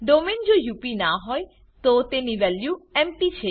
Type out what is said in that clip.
domain જો UP ના હોય તો તેની વેલ્યુ એમપી